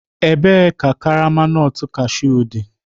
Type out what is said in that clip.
Ebee ka karama nut cashew dị?